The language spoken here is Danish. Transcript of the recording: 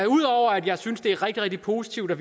ud over at jeg synes at det er rigtig rigtig positivt at